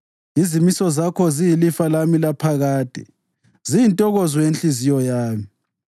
Izimiso zakho ziyilifa lami laphakade; ziyintokozo yenhliziyo yami.